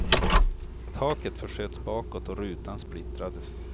Taket försköts bakåt och rutan splittrades.